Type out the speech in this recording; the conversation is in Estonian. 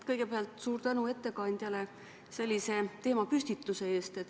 Kõigepealt suur tänu ettekandjale sellise teemapüstituse eest!